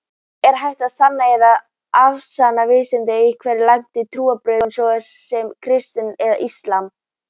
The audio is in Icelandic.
Er hægt að sanna eða afsanna vísindalega einhver algeng trúarbrögð, svo sem kristni eða islam?